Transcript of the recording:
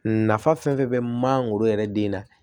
Nafa fɛn fɛn bɛ mangoro yɛrɛ den na